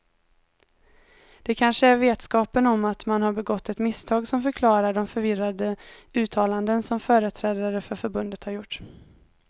Det kanske är vetskapen om att man har begått ett misstag som förklarar de förvirrade uttalanden som företrädare för förbundet har gjort.